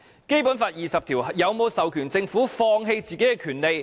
《基本法》第二十條有否授權政府放棄自己的權利？